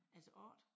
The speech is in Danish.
Altså 8